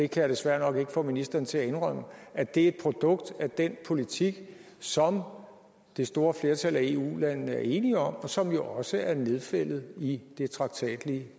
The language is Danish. kan desværre nok ikke få ministeren til at indrømme at det er et produkt af den politik som det store flertal af eu landene er enige om og som jo også er nedfældet i det traktatlige